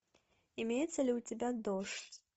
имеется ли у тебя дождь